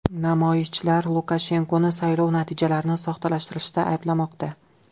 Namoyishchilar Lukashenkoni saylov natijalarini soxtalashtirishda ayblamoqda.